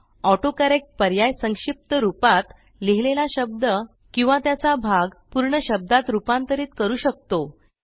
autocorrect पर्याय संक्षिप्त रूपात लिहिलेला शब्द किंवा त्याचा भाग पूर्ण शब्दात रूपांतरित करू शकतो